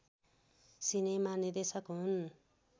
cinema निर्देशक हुन्